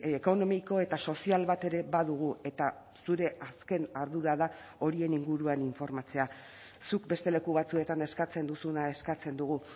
ekonomiko eta sozial bat ere badugu eta zure azken ardura da horien inguruan informatzea zuk beste leku batzuetan eskatzen duzuna eskatzen dugu